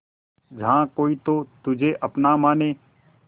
जहा कोई तो तुझे अपना माने